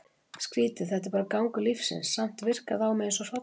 Skrítið, þetta er bara gangur lífsins, samt virkar það á mig eins og hrollvekja.